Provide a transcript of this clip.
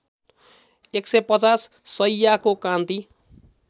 १५० शैय्याको कान्ति